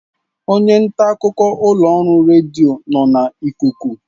Onye nta akụkọ ụlọ ọrụ redio nọ na ikuku